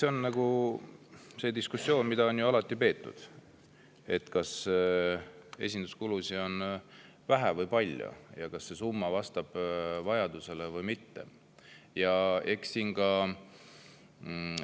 See, kas esinduskulusid on vähe või palju ja kas see summa vastab vajadusele või mitte, on ju diskussioon, mida on alati peetud.